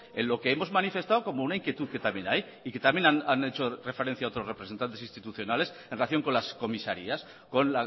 en lo que hemos manifestado como una inquietud que también hay y que también han hecho referencia otros representantes institucionales en relación con las comisarías con